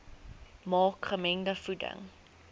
maak gemengde voeding